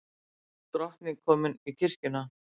Drottning komin í kirkjuna